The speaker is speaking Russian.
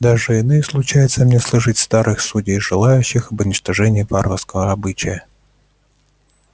даже и ныне случается мне слышать старых судей жалеющих об уничтожении варварского обычая